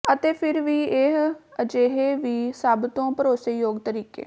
ਅਤੇ ਫਿਰ ਵੀ ਇਹ ਅਜੇ ਵੀ ਸਭਤੋਂ ਭਰੋਸੇਯੋਗ ਤਰੀਕੇ